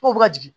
Ko bɛ ka jigin